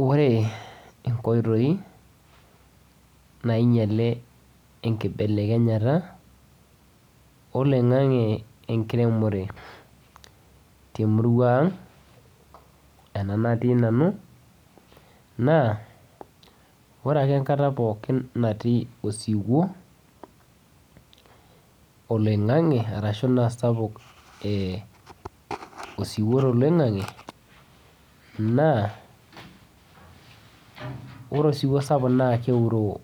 Ore enkotoi nainyalee enkibelekenyata oloing'ang'e enkiremore te murua ang' ena natii nanu naa ore ake nkaata pookin natii osiuwo oloing'ang'e arashu naa sapuk ee osiuwo to loing'ang'e naa ore esiuwo sapuk naa keuroo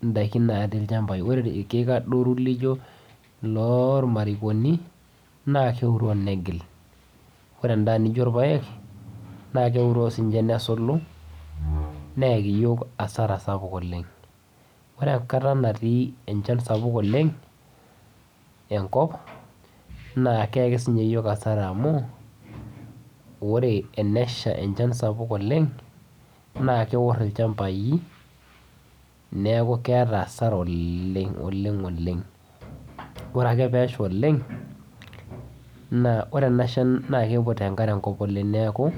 ndaakin natii lchambai. Ore lkiek adoro lijoo loo lmarikonii naa keuroo negiil. Ore ndaa nijoo lpaek naa keuroo sii ninchee nesuluu neeki yook hasara sapuk oleng. Ore enkaata natii echaan sapuk oleng e nkop naa keeki sii ninyee yook hasara amu ore eneshaa echaan sapuk oleng naa keoor elchaambai, neeku keeta hasara oleng oleng oleng. Ore ake pee eshaa oleng naa ore ena shaan naa keikuut enkaare nkoop oleng neeku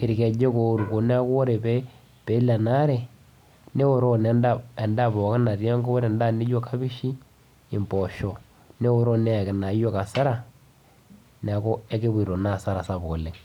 elkejook oboo neeku pee ilaa ena aare neoroo endaa endaa pooki natii nkoop ore endaa nijoo kabishii eboosho. Neoroo neeki naa yook hasara naa enkipotoo naa hasara oleng.